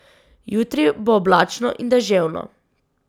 Jutri bo oblačno in deževno.